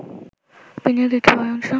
বিনিয়োগের একটি বড় অংশ